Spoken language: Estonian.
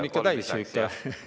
Ikka täis siis.